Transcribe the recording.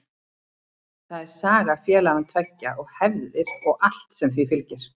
Það er saga félagana tveggja og hefðir og allt sem því fylgir.